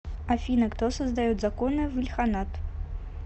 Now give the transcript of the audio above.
афина кто создает законы в ильханат